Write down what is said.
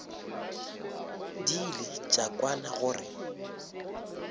di ile tša kwana gore